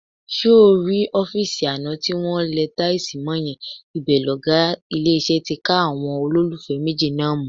Ṣé o rọ́fíìsì àná tí wọn lẹ táìsì mọ́ yẹn, ibẹ̀ lọ̀gá ilé-iṣẹ́ ti ká àwọn olólùfẹ́ méjì náà mú.